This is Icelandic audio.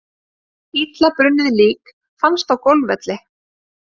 Illa brunnið lík fannst á golfvelli